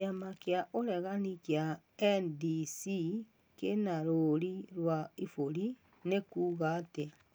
Kĩama kĩa ũregani kĩa NDC kĩna rũũri rwa iburi, nĩ kuuga atĩa.